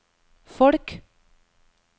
folk